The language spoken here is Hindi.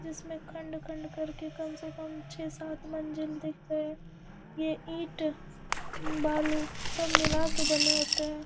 जिसमें खंड-खंड करके कम से कम छे-सात मंजिल दिख रहें ये ईट उम बालू सब मिला के बने होते हैं।